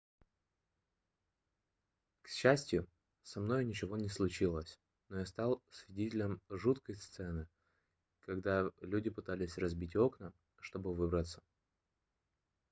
к счастью со мной ничего не случилось но я стал свидетелем жуткой сцены когда люди пытались разбить окна чтобы выбраться